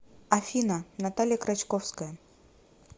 афина наталья крачковская